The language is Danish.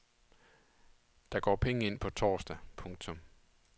Der går penge ind på torsdag. punktum